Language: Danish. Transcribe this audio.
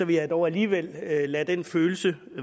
vil jeg dog alligevel lade den følelse